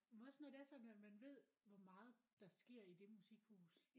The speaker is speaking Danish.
Men også når det er sådan at man ved hvor meget der sker i det musikhus